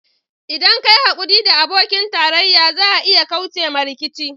ldan ka yi haƙuri da abokin tarayya za a iya kauce ma rikici.